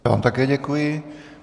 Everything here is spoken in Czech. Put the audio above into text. Já vám také děkuji.